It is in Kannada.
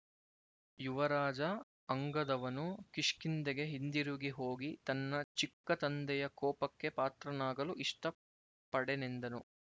ಯುವರಾಜ ಅಂಗದವನು ಕಿಷ್ಕಿಂಧೆಗೆ ಹಿಂದಿರುಗಿ ಹೋಗಿ ತನ್ನ ಚಿಕ್ಕತಂದೆಯ ಕೋಪಕ್ಕೆ ಪಾತ್ರನಾಗಲು ಇಷ್ಟ ಪಡೆನೆಂದನು